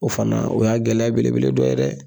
O fana o y'a gɛlɛya belebele dɔ ye dɛ